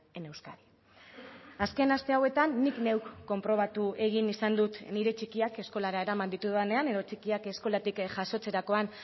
en euskadi azken aste hauetan nik neuk konprobatu egin izan dut nire txikiak eskolara eraman ditudanean edo txikiak eskolatik jasotzerakoan